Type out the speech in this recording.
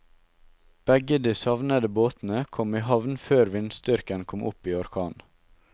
Begge de savnede båtene kom i havn før vindstyrken kom opp i orkan.